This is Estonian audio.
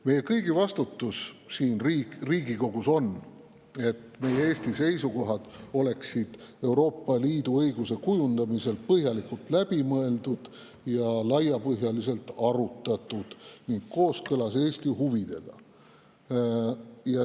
Meie kõigi vastutus siin Riigikogus on, et Eesti seisukohad oleksid Euroopa Liidu õiguse kujundamisel põhjalikult läbi mõeldud, laiapõhjaliselt arutatud ning kooskõlas Eesti huvidega.